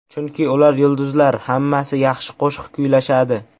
Chunki ular yulduzlar, hammasi yaxshi qo‘shiq kuylashadi.